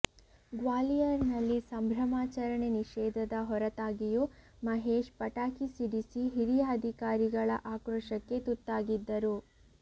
ಗ್ವಾಲಿಯರ್ ನಲ್ಲಿ ಸಂಭ್ರಮಾಚರಣೆ ನಿಷೇಧದ ಹೊರತಾಗಿಯೂ ಮಹೇಶ್ ಪಟಾಕಿ ಸಿಡಿಸಿ ಹಿರಿಯ ಅಧಿಕಾರಿಗಳ ಆಕ್ರೋಶಕ್ಕೆ ತುತ್ತಾಗಿದ್ದರು